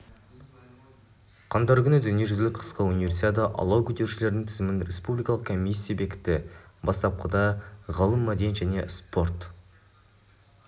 қаңтар күні дүниежүзілік қысқы универсиада алау көтерушілердің тізімін республикалық комиссия бекітті бастапқыда ғылым мәдениет және спорт